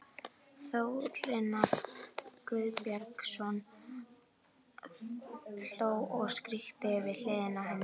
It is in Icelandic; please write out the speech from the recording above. Þórarinn Guðbjörnsson hló og skríkti við hliðina á henni.